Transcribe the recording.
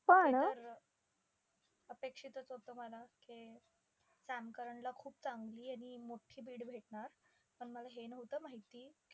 पण हे तर अपेक्षितचं होतं मला की, सॅम करनला खूप चांगली आणि मोठी bid भेटणार. पण मला हे नव्हतं माहिती,